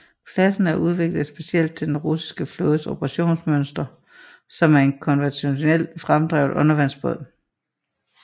Klassen er udviklet specielt til den russiske flådes operationsmønster som en konventionelt fremdrevet undervandsbåd